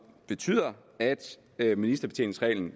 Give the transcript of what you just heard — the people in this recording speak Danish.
betyder at at ministerbetjeningsreglen